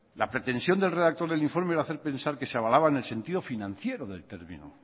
la pretensión del redactor del informe era de hacer pensar que se avalaban en sentido financiero del término